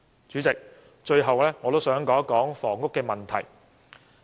主席，我最後想討論房屋問題。